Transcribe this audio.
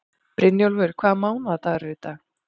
Brynjólfur, hvaða mánaðardagur er í dag?